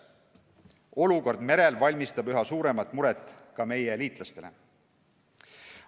Olukord merel valmistab üha suuremat muret ka meie liitlastele.